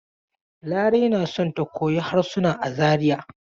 Larai na so ta koyi harsuna a Zariya.